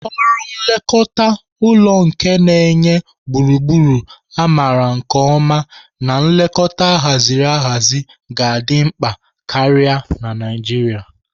Ọrụ nlekọta ụlọ nke na-enye gburugburu a maara nke ọma na nlekọta ahaziri ahazi ga-adị mkpa karịa na Naijiria.